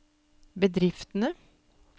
bedriftene